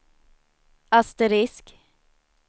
asterisk